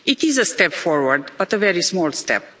It is a step forward, but a very small step.